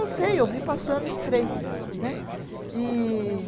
Não sei, eu vi passando e entrei né. E